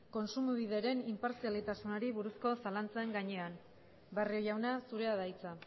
kontsumobideren inpartzialtasunari buruzko zalantzen gainean barrio jauna zurea da hitza